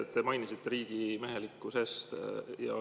Te mainisite riigimehelikkust.